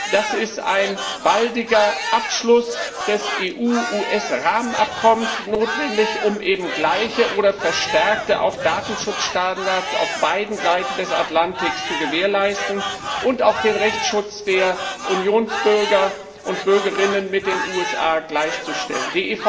Dazu ist ein baldiger Abschluss des EU US Rahmenabkommens notwendig, um gleiche oder verstärkte Datenschutzstandards auf beiden Seiten des Atlantiks zu gewährleisten und den Rechtsschutz der Unionsbürger und bürgerinnen mit den USA gleichzuschalten.